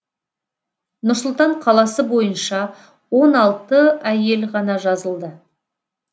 нұр сұлтан қаласы бойынша он алты әйел ғана жазылды